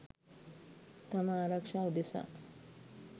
තම ආරක්ෂාව උදෙසා.